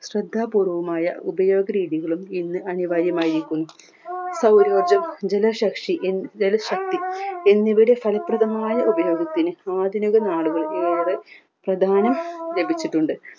ശ്രദ്ധ പൂർവായ ഉപയോഗ രീതികളും ഇന്ന് അനിവാര്യമായിരിക്കുന്നു എന്നിവയുടെ ഫലപ്രദമായ ഉപയോഗത്തിന് ആധുനികനാളുകൾ പ്രാധാന ലഭിച്ചിട്ടുണ്ട്